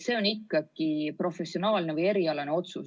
" See on ikkagi professionaalne või erialane otsus.